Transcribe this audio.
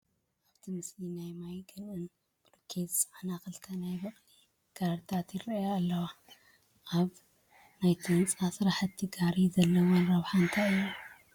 ኣብቲ ምስሊ ናይ ማይ ገንእን ብሎኬትን ዝፀዓና ክልተ ናይ በቕሊ ጋሪታት ይርአያ ኣለዋ፡፡ ኣብ ናይ ህንፃ ስራሕቲ ጋሪ ዘለወን ረብሓ እንታይ እዩ?